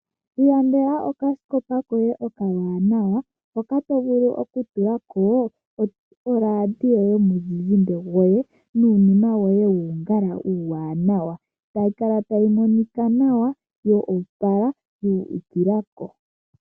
Ilandela oka sikopa koye okawanawa, hoka to vulu oku tulako, oradio yoye yomu zizimba nuunima woye wuungala uuwanawa. Tayi kala tayi monika nawa yo, opala, yu ukila ko.